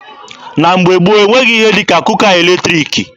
Na mgbe gboo, e nweghị ihe dị ka kuka eletriki.